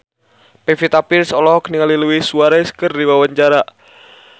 Pevita Pearce olohok ningali Luis Suarez keur diwawancara